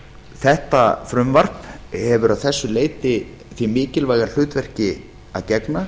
þetta frumvarp hefur að þessu leyti því mikilvæga hlutverki að gegna